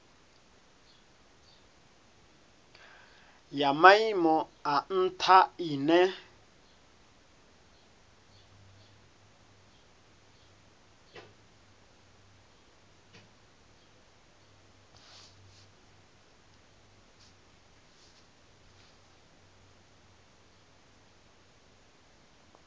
ya maimo a ntha ine